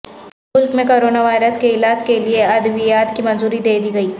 ملک میں corona virus کے علاج کےلئے ادویات کی منظوری دے دی گئی